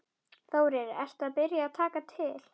Þórir: Ertu byrjaður að taka til?